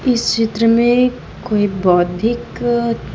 इस चित्र में कोई बौद्धिक--